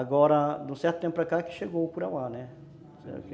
Agora, de um certo tempo para cá que chegou o curauá, né?